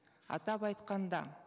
атап айтқанда